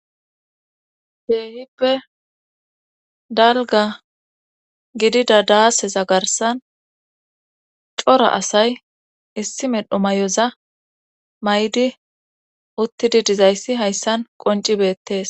Heehibe dalga gidida daaseza garsan cora asay issi medhu may'oza may'di uttidi dizayssi hayssan qoncibettes.